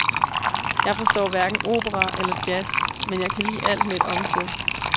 Jeg forstår hverken opera eller jazz, men jeg kan lide alt med et omkvæd.